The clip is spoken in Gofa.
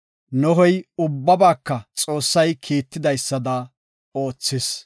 Nohey ubbabaaka Xoossay kiitidaysada oothis.